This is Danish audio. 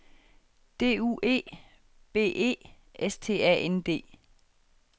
D U E B E S T A N D